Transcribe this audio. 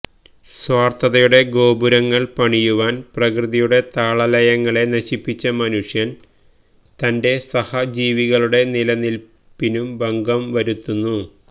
സ്വാർത്ഥതയുടെ ഗോപുരങ്ങൾ പണിയുവാൻ പ്രകൃതിയുടെ താളലയങ്ങളെ നശിപ്പിച്ച മനുഷ്യൻ തന്റെ സഹജീവികളുടെ നിലനിൽപ്പിനും ഭംഗം വരുത്തുന്നു